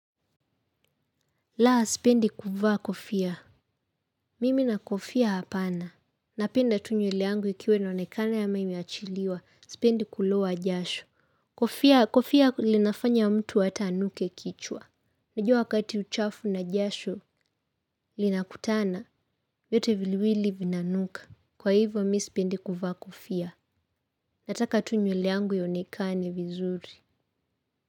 Laa, sipendi kuvaa kofia. Mimi na kofia hapana. Napenda tu nyeleangu ikiwa inaonekana ama imeachiliwa. Sipendi kuloa jasho. Kofia, kofia linafanya mtu hata anuke kichwa. Najua wakati uchafu na jasho linakutana. Vyote viliwili vina nuka. Kwa hivo, mi sipendi kuvaa kofia. Nataka tu nyeleangu ionekane vizuri.